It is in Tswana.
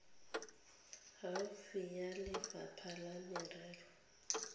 gaufi ya lefapha la merero